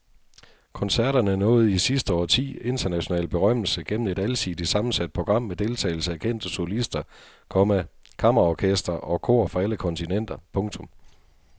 Koncerterne nåede i sidste årti international berømmelse gennem et alsidigt sammensat program med deltagelse af kendte solister, komma kammerorkestre og kor fra alle kontinenter. punktum